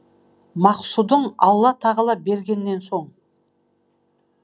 максұдың алла тағала бергеннен соң